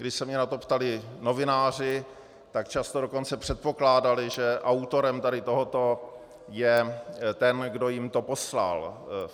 Když se mě na to ptali novináři, tak často dokonce předpokládali, že autorem tady tohoto je ten, kdo jim to poslal.